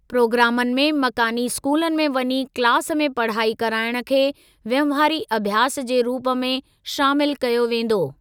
प्रोग्रामनि में मकानी स्कूलनि में वञी क्लास में पढ़ाई कराइण खे वहिंवारी अभ्यास जे रूप में शामिल कयो वेंदो।